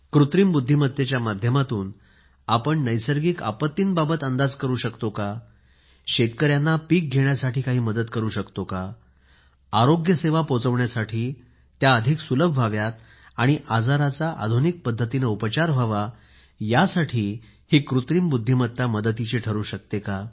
कृत्रिम बुद्धिमत्तेच्या माध्यमातून आपण नैसर्गिक आपत्तीबाबत अंदाज करू शकतो का शेतकऱ्यांना पीक घेण्यासाठी काही मदत करू शकतो का आरोग्य सेवा पोहोचण्यासाठी सुलभ व्हाव्यात आणि आजाराचा आधुनिक पद्धतीने उपचार व्हावा यासाठी कृत्रिम बुद्धिमत्ता मदतिची ठरू शकते का